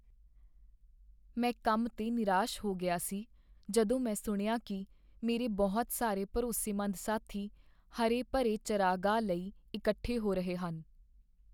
ਮੈਂ ਕੰਮ 'ਤੇ ਨਿਰਾਸ਼ ਹੋ ਗਿਆ ਸੀ ਜਦੋਂ ਮੈਂ ਸੁਣਿਆ ਕੀ ਮੇਰੇ ਬਹੁਤ ਸਾਰੇ ਭਰੋਸੇਮੰਦ ਸਾਥੀ ਹਰੇ ਭਰੇ ਚਰਾਗਾਹਾਂ ਲਈ ਇਕੱਠੇ ਹੋ ਰਹੇ ਹਨ।